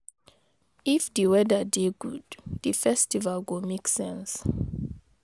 If di weather dey good, di festival go make sense.